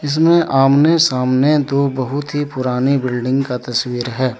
इसमें आमने सामने दो बहुत ही पुरानी बिल्डिंग का तस्वीर है।